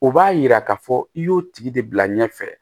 O b'a yira k'a fɔ i y'o tigi de bila ɲɛfɛ